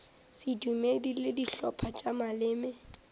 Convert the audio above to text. sedumedi le dihlopha tša maleme